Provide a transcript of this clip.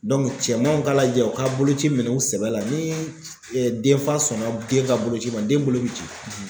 cɛmanw ka lajɛ u ka boloci minɛn sɛbɛ la ni denfa sɔnna den ka boloci ma den bolo bɛ ci.